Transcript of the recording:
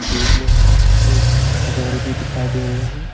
दूर में एक घर भी दिखाई दे रहे हैं।